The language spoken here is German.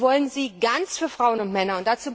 Wir wollen sie ganz, für Frauen und Männer.